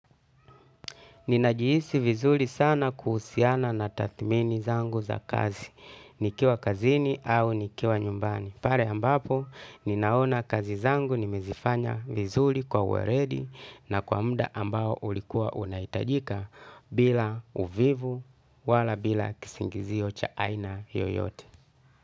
Ninajihisi vizuri sana kuhusiana na tathmini zangu za kazi, nikiwa kazini au nikiwa nyumbani. Pale ambapo, ninaona kazi zangu nimezifanya vizuri kwa uweledi na kwa muda ambao ulikuwa unahitajika bila uvivu wala bila kisingizio cha aina yoyote.